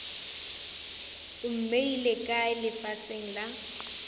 o mmeile kae lefaseng la